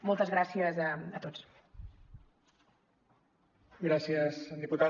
moltes gràcies a tots